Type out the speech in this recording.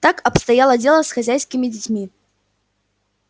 так обстояло дело с хозяйскими детьми